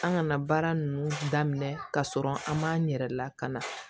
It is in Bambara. An kana baara ninnu daminɛ ka sɔrɔ an m'an yɛrɛ lakana